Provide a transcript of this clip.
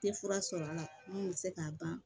Tɛ fura sɔrɔ a la min bɛ se k'a ban